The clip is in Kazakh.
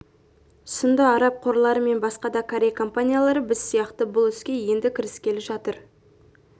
сынды араб қорлары мен басқа да корей компаниялары біз сияқты бұл іске енді кіріскелі жатыр